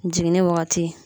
Jiginni wagati